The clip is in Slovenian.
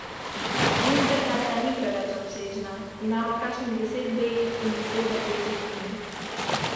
Vedno bolj se mi je dozdevalo, da se mi prav to dogaja.